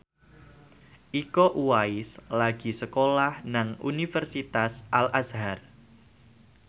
Iko Uwais lagi sekolah nang Universitas Al Azhar